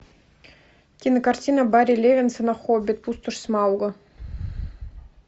кинокартина барри левинсона хоббит пустошь смауга